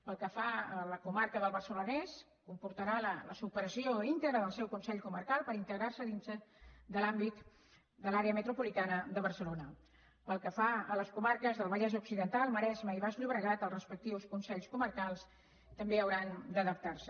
pel que fa a la comarca del barcelonès comportarà la supressió íntegra del seu consell comarcal per integrar se dins de l’àmbit de l’àrea metropolitana de barcelona pel que fa a les comarques del vallès occidental el maresme i el baix llobregat els respectius consells comarcals també hauran d’adaptar se